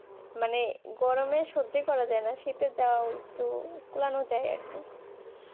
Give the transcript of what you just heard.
মানে গরমে সহ্য করা যায় না শীতে যাই একটু করানো যায় আর কি